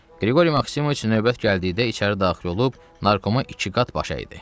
Qriqori Maksimoviç növbət gəldikdə içəri daxil olub narkoma iki qat baş əydi.